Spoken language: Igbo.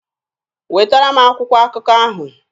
Wetara m akwụkwọ akụkọ ahụ!